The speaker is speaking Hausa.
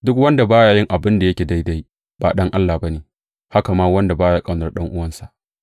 Duk wanda ba ya yin abin da yake daidai, ba ɗan Allah ba ne; haka ma wanda ba ya ƙaunar ɗan’uwansa.